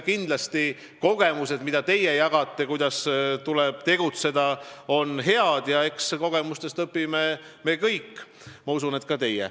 Kindlasti on kogemused, mida te jagate, et kuidas tuleb tegutseda, head, ja eks kogemustest õpime me kõik, ma usun, et ka teie.